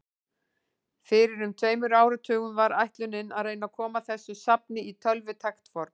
Fyrir um tveimur áratugum var ætlunin að reyna að koma þessu safni í tölvutækt form.